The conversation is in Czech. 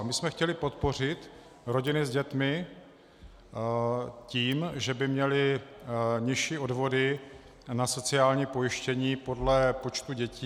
A my jsme chtěli podpořit rodiny s dětmi tím, že by měly nižší odvody na sociální pojištění podle počtu dětí.